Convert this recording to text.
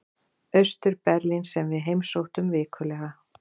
Austur-Berlín sem við heimsóttum vikulega.